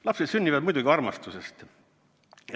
Lapsed sünnivad muidugi armastusest.